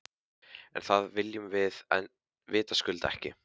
En það viljum við vitaskuld ekki.